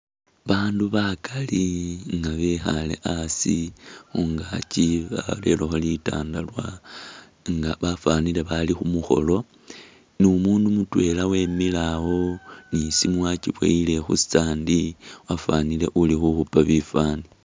Bandu bakaali nga bekhaale asi, khungaaki barerekho litandalwa nga bafanile bali khumukholo numundu mutwela mwemile awo nisimu yachiboyile khu'stand wafanile uli khukhupa bifaani